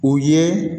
O ye